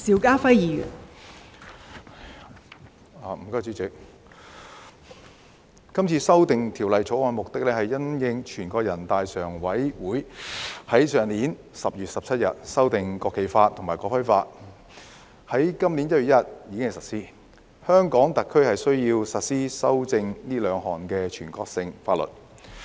代理主席，《2021年國旗及國徽條例草案》旨在因應全國人大常委會於去年10月17日修訂《國旗法》和《國徽法》並於今年1月1日施行，在香港特區實施這兩部經修正的全國性法律。